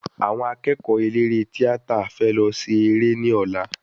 Àwọn akẹ́kọ̀ọ́ eléré tíátà fẹ lọ ṣe eré ní ọ̀lá